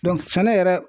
sɛnɛ yɛrɛ